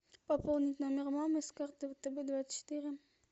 пополнить номер мамы с карты втб двадцать четыре